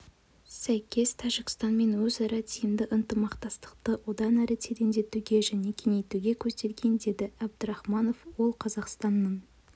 сәйкес тәжікстанмен өзара тиімді ынтымақтастықты одан әрі тереңдетуге және кеңейтуге көзделген деді әбдірахманов ол қазақстанның